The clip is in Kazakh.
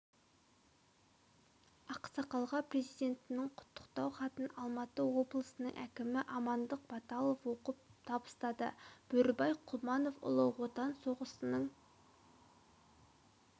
ақсақалға президентінің құттықтау хатын алматы облысының әкімі амандық баталов оқып табыстады бөрібай құлманов ұлы отан соғысының